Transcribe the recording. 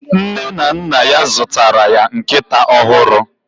Nne na nna ya zụtara ya nkịta ọhụrụ